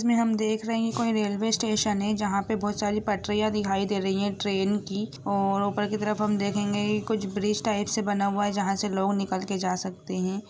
हम देख रहे हैं कोई रेलवे स्टेशन है जहाँ पे बहुत सारी पटरियाँ दिखाई दे रही है ट्रेन की और ऊपर की तरफ हम देखेंगे कुछ ब्रिज टाइप से बना है जहाँ से लोग निकाल के जा सकते हैं।